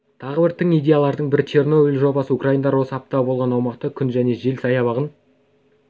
тағы бір тың идеялардың бірі чернобыль жобасы украиндар осы апат болған аумақта күн және жел саябағын